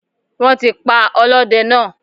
Wọ́n ti pa ọlọ́dẹ náà